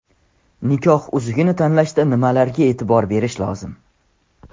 Nikoh uzugini tanlashda nimalarga e’tibor berish lozim?